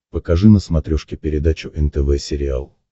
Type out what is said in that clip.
покажи на смотрешке передачу нтв сериал